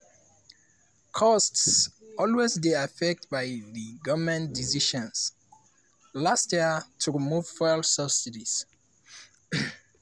costs also dey affected by di goment decision last year to remove fuel subsidies.